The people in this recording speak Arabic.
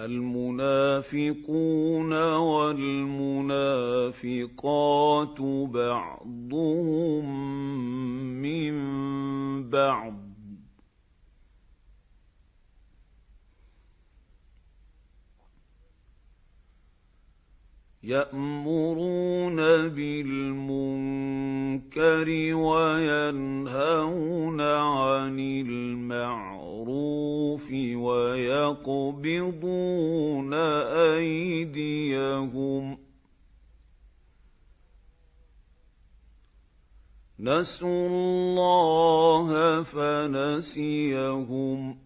الْمُنَافِقُونَ وَالْمُنَافِقَاتُ بَعْضُهُم مِّن بَعْضٍ ۚ يَأْمُرُونَ بِالْمُنكَرِ وَيَنْهَوْنَ عَنِ الْمَعْرُوفِ وَيَقْبِضُونَ أَيْدِيَهُمْ ۚ نَسُوا اللَّهَ فَنَسِيَهُمْ ۗ